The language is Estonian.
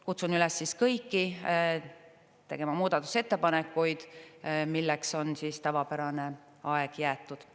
Kutsun üles kõiki tegema muudatusettepanekuid, milleks on tavapärane aeg jäetud.